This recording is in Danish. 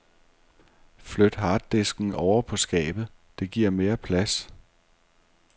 Flyt harddisken ovre på skabet, det giver mere plads.